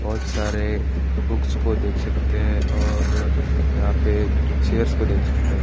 बहुत सारे बुक्स को देख सकते हैं और यहाँ पे चेयर को देख सकते है।